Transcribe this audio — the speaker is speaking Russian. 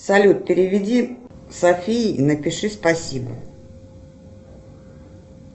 салют переведи софии и напиши спасибо